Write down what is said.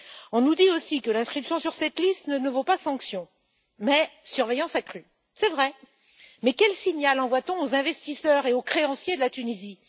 On nous dit aussi que l'inscription sur cette liste ne vaut pas sanction, mais surveillance accrue. C'est vrai, mais quel signal envoie t on aux investisseurs et aux créanciers de la Tunisie?